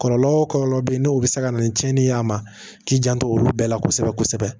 Kɔlɔlɔ o kɔlɔlɔ be yen n'o be se ka na ni tiɲɛni ye a ma k'i janto olu bɛɛ la kosɛbɛ kosɛbɛ